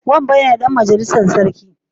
Wambai ne Dan majalissar sarki